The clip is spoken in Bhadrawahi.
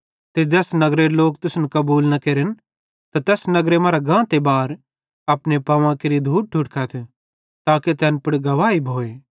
ते ज़ैस नगरेरे लोक तुसन कबूल न केरन त तैस नगर मरां गांते बार अपने पांवां केरि धूड़ ठुड़कथ ताके तैन पुड़ गवाही भोए